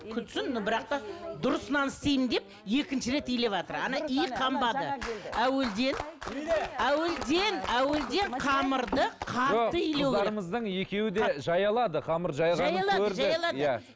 күтсін но бірақ та дұрыс нан істеймін деп екінші рет илеватыр